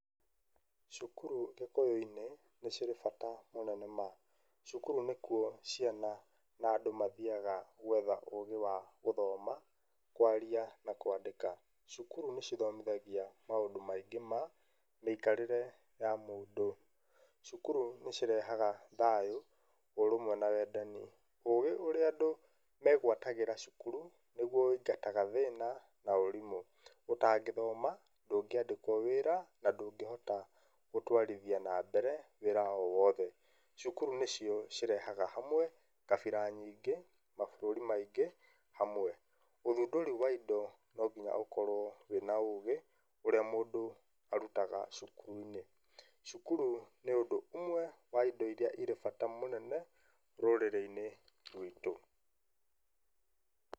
Cukuru gĩkũyũ-inĩ nĩ cirĩ bata mũnene ma. Cukuru nĩkuo ciana na andũ mathiaga gwetha ũgĩ wa gũthoma, kwaria na kwandĩka. Cukuru nĩ cithomithagia maũndũ maingĩ ma mĩikarĩre ya mũndũ. Cukuru nĩ cirehaga thayũ, ũrũmwe na wendani. Ũgĩ ũrĩa andũ megwatagĩra cukuru nĩguo ũingataga thĩna na ũrimũ. Ũtangĩthoma ndũngĩandĩkwo wĩra na ndũngĩhota gũtwarithia na mbere wĩra o wothe. Cukuru nĩcio irehaga hamwe kabira nyingĩ, mabũrũri maingĩ hamwe. Ũthundũri wa indo no nginya ũkorwo wĩna ũgĩ ũrĩa mũndũ arutaga cukuru-inĩ. Cukuru nĩ ũndũ ũmwe wa indo irĩa irĩ bata mũnene rũrĩrĩ-inĩ rwitũ.